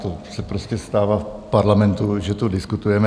To se prostě stává v parlamentu, že tu diskutujeme.